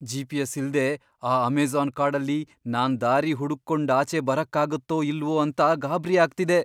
GPS. ಇಲ್ದೇ ಆ Amazon ಕಾಡಲ್ಲಿ ನಾನ್ ದಾರಿ ಹುಡುಕ್ಕೊಂಡ್ ಆಚೆ ಬರಕ್ಕಾಗತ್ತೋ ಇಲ್ವೋ ಅಂತ ಗಾಬ್ರಿ ಆಗ್ತಿದೆ.